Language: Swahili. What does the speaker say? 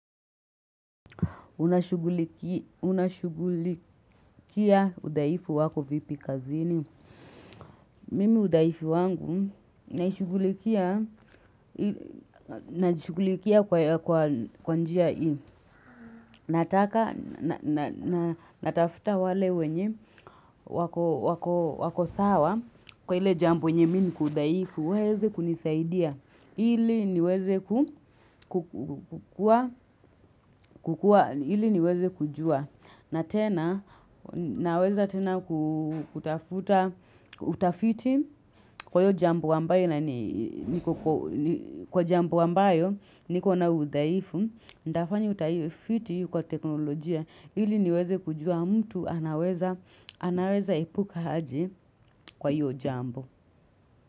Unashughulikia udaifu wako vipi kazini. Mimi udhaifu wangu najishughulikia kwa njia hii. Nataka, natafuta wale wenye wako sawa kwa ile jambo nye miniku dhaifu. Uweze kunisaidia. Ili niweze kukua, ili niweze kujua. Na tena, naweza tena kutafuta, utafiti kwaiyo jambo ambayo inani jambo ambayo niko na udhaifu. Nitafanya utafiti kwa teknolojia ili niweze kujua mtu anaweza epuka haje kwahiyo jambo.